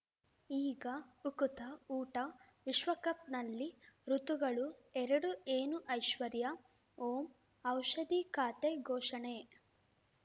ಈಗ ಉಕುತ ಊಟ ವಿಶ್ವಕಪ್‌ನಲ್ಲಿ ಋತುಗಳು ಎರಡು ಏನು ಐಶ್ವರ್ಯಾ ಓಂ ಔಷಧಿ ಖಾತೆ ಘೋಷಣೆ